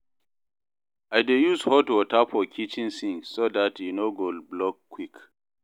I dey use hot water for kitchen sink so dat e no go block quick